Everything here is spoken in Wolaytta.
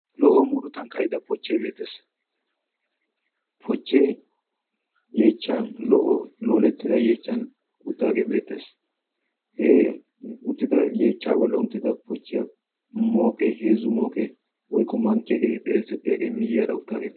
lo"o murutan kayida pochchee beettees. pochchee yeechchan lo"o loolettida yeechchan uttaagee beettees. he uttida yeechcha bolla uttida pochchiyaa mooqee heezzu mooqee woykko mankkiyaageete xeessettiyaagee miyyiyaara uttagee